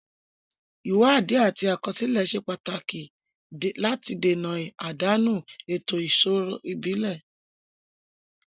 Ìwádìí àti àkọsílẹ̀ ṣe pàtàkì láti dènà àdánù ètò ìṣirò ìbílẹ̀.